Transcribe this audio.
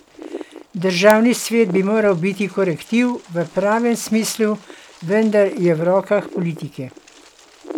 Državni svet bi moral biti korektiv v pravem smislu, vendar je v rokah politike.